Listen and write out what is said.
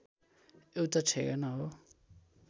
एउटा ठेगाना हो